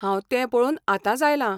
हांव तें पळोवन आतांच आयलां.